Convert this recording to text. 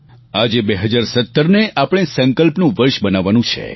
આજે 2017ને આપણા સંકલ્પના વર્ષ બનાવવાનું છે